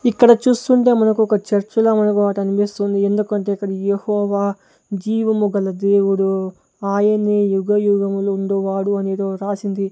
ఇక్కడ చూస్తుంటే మనకు ఒక చర్చ్లా మనకు వాటనపిస్తుంది ఎందుకంటే ఇక్కడ యెహోవా జీవముగల దేవుడు ఆయనే యుగయుగములు ఉండువాడు అని ఏదో రాసింది.